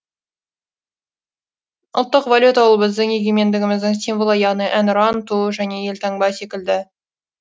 ұлттық валюта ол біздің егемендігіміздің символы яғни әнұран ту және елтаңба секілді